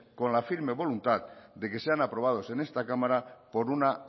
con la firme voluntad de que sean aprobados en este cámara por una